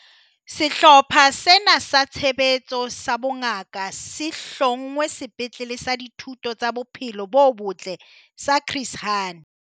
Sehlopha sena sa Tshebetso sa Bongaka se hlongwe Sepetlele sa Dihuto tsa Bophelo bo Botle sa Chris Hani